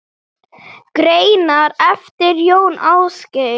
Greinar eftir Jón Ásgeir